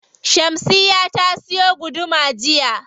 Shamsiyya ta siyo guduma jiya.